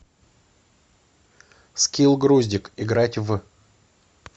скилл груздик играть в